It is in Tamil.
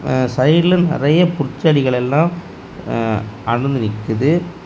ஆ சைடுல நறைய பூட்செடிகள் எல்லாம் ஆ அனந்து நிக்குது.